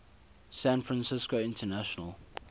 san francisco international